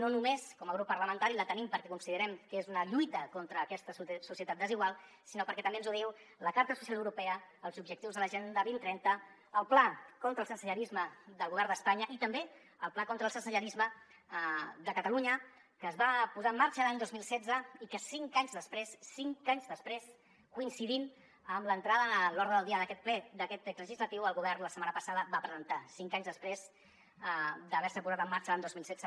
no només com a grup parlamentari que la tenim perquè considerem que és una lluita contra aquesta societat desigual sinó perquè també ens ho diuen la carta social europea els objectius de l’agenda dos mil trenta el pla contra el sensellarisme del govern d’espanya i també el pla contra el sensellarisme de catalunya que es va posar en marxa l’any dos mil setze i que cinc anys després cinc anys després coincidint amb l’entrada a l’ordre del dia d’aquest ple d’aquest text legislatiu el govern la setmana passada va presentar cinc anys després d’haver se posat en marxa l’any dos mil setze